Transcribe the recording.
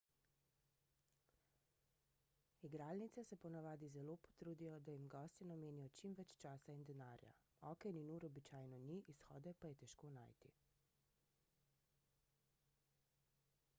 igralnice se ponavadi zelo potrudijo da jim gostje namenijo čim več časa in denarja oken in ur običajno ni izhode pa je težko najti